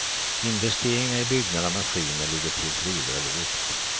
Investeringar i byggnader och maskiner ligger tills vidare lågt.